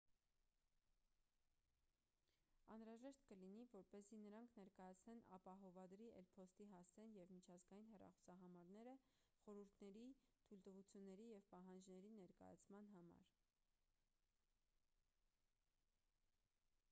անհրաժեշտ կլինի որպեսզի նրանք ներկայացնեն ապահովադրի էլ.փոստի հասցեն և միջազգային հեռախոսահամարները խորհուրդների/թույլտվությունների և պահանջների ներկայացման համար: